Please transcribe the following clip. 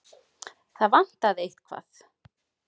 Það vantaði eitthvað.